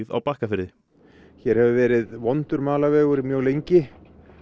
á Bakkafirði hér hefur verið vondur malarvegur mjög lengi